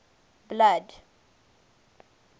blood